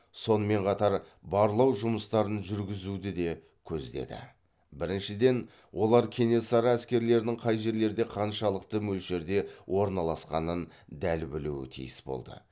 сонымен қатар барлау жұмыстарын жүргізуді де көздеді біріншіден олар кенесары әскерлерінің қай жерлерде қаншалықты мөлшерде орналасқанын дәл білуі тиіс болды